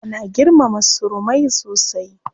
Ana girmama surumai sosai.